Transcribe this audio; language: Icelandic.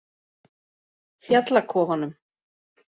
Fjallakofanum